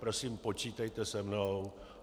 Prosím, počítejte se mnou.